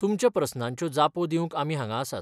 तुमच्या प्रस्नांच्यो जापो दिवंक आमी हांगा आसात.